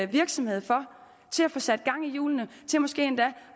virksomhed for til at få sat gang i hjulene til måske endda